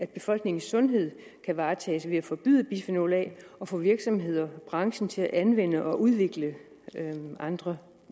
befolkningens sundhed kan varetages ved at forbyde bisfenol a og få virksomheder branchen til at anvende og udvikle andre